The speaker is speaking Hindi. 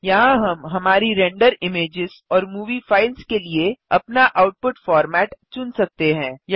यहाँ हम हमारी रेंडर इमेज़ेस और मूवी फ़ाइल्स के लिए अपना आउटपुट फोर्मैट चुन सकते हैं